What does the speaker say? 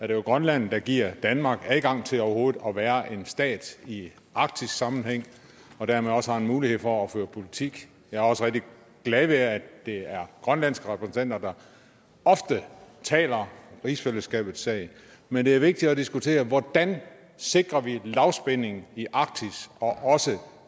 det jo grønland der giver danmark adgang til overhovedet at være en stat i arktisk sammenhæng og dermed også mulighed for at føre politik jeg er også rigtig glad ved at det er grønlands repræsentanter der ofte taler rigsfællesskabets sag men det er vigtigt at diskutere hvordan vi sikrer lavspænding i arktis og også